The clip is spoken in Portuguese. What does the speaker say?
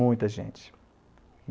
Muita gente.